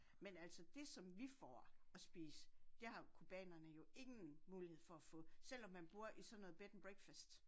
Men altså det som vi får at spise det har cubanerne jo ingen mulighed for at få selvom man bor i sådan noget bed and breakfast